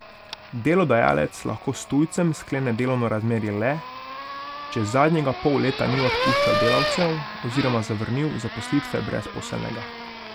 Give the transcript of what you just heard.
Delodajalec lahko s tujcem sklene delovno razmerje le, če zadnjega pol leta ni odpuščal delavcev oziroma zavrnil zaposlitve brezposelnega.